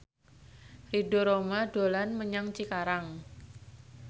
Ridho Roma dolan menyang Cikarang